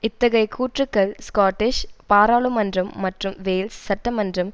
இத்தகைய கூற்றுக்கள் ஸ்காட்டிஷ் பாராளுமன்றம் மற்றும் வேல்ஷ் சட்டமன்றம்